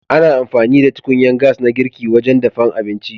Ana amfani da tukunyan gas na girki wajen dafan abinci.